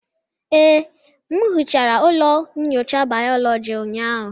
Ee, m hichara ụlọ nyocha bayoloji ụnyahụ.